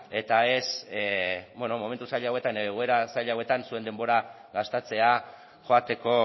eta ez beno momentu zail hauetan edo egoera zail hauetan zuen denbora gastatzea joateko